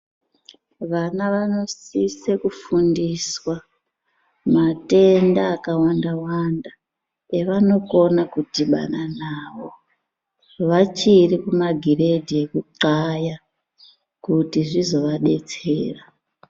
Vana vanosise kufundiswa matenda akawanda wanda evanokone kudhibana nawo vachiri kuma giredhi kugaya kuti zvizoadetsera